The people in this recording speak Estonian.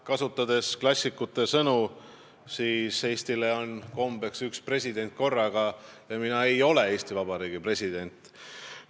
Kasutades klassikute sõnu: Eestile on kombeks üks president korraga ja mina ei ole Eesti Vabariigi president.